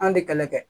An de kɛlɛ kɛ